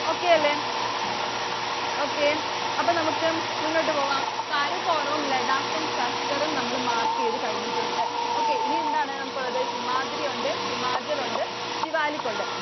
Okay അല്ലേ. okay അപ്പൊ നമുക്ക് മുന്നോട്ടു പോവാം. കാരക്കോറവും, ലഡാക്കും, സസ്കറും നമ്മള് mark ചെയ്തു കഴിഞ്ഞിട്ടുണ്ട്. Okay ഇനി എന്താണ് നമ്മുക്കുള്ളത്? ഹിമാദ്രി ഉണ്ട്. ഹിമാചല്‍ ഉണ്ട്. സിവാലിക് ഉണ്ട്.